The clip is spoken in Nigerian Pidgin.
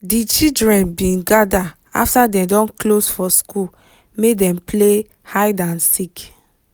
di children bin gather after dem don close for school make dem play hide and seek